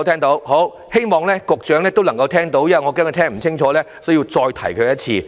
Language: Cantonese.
我希望局長也聽到，剛才我恐怕他聽不清楚，故此要再次提醒他。